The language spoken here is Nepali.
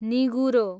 निगुरो